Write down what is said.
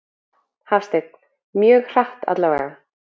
Hafsteinn: Mjög hratt allavega?